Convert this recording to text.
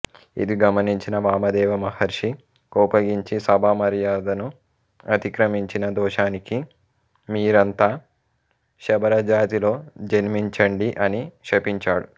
అది గమనించిన వామదేవ మహర్షి కోపగించి సభామర్యాదను అతిక్రమించిన దోషానికి మీరంతా శబరజాతిలో జన్మించండి అని శపించాడు